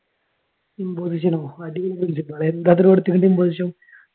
ഇമ്പോസിഷനോ അടിപൊളി പ്രിൻസിപ്പാൾ എന്താ ഇത്ര കൊടുത്തിക്കണ് എബോസിഷൻ?